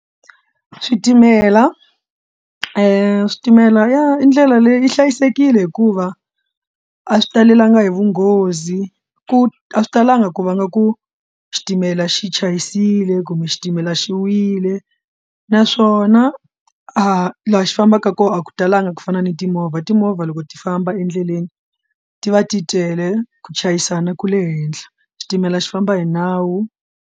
Switimela switimela i ndlela leyi yi hlayisekile hikuva a swi talelangi hi vunghozi ku a swi talanga ku vanga ku xitimela xi chayisile kumbe xi xitimela xi wile naswona a laha xi fambaka kona a ku talanga ku fana ni timovha timovha loko ti famba endleleni ti va ti tele ku chayisana ku le henhla xitimela xi famba hi nawu.